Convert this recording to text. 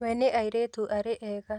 We nĩ airĩtu arĩa ega